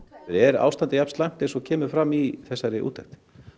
er ástandið slæmt eins og kemur fram í þessari úttekt